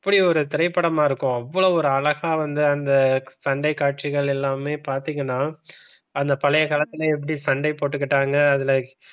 இப்படி ஒரு திரைப்படமா இருக்கும் அவ்வளவு ஒரு அழகா வந்து அந்த சண்டை காட்சிகள் எல்லாமே பாத்தீங்கன்னா அந்த பழைய காலத்துல எப்படி சண்டை போட்டுக்கிட்டாங்க. அதுல